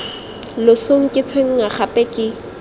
losong ke tshwenngwa gape ke